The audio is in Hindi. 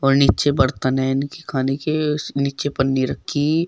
नीचे बर्तन है इनके खाने के नीचे पन्नी रखी--